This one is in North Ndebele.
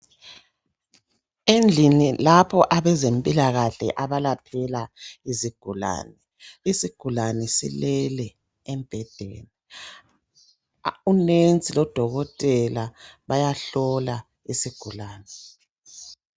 Endlini lapho abezempilakahle abalaphela izigulane ,isigulane silele embhedeni. Umongikazi lodokotela bayahlola isigulane.